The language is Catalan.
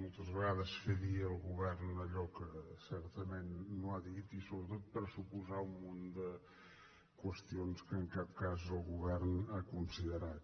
moltes vegades fer dir al govern allò que certament no ha dit i sobretot pressuposar un munt de qüestions que en cap cas el govern ha considerat